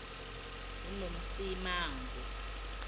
unomsimangu